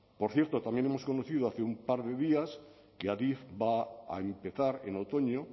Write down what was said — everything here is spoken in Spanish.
por cierto también hemos conocido hace un par de días que adif va a empezar en otoño